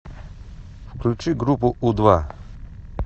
включи группу у два